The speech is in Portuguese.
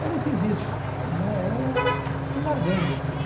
Eu não fiz isso, né, eu fui largando aquilo.